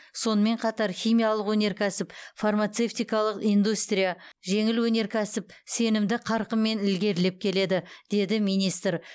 сонымен қатар химиялық өнеркәсіп фармацевтикалық индустрия жеңіл өнеркәсіп сенімді қарқынмен ілгерілеп келеді деді министр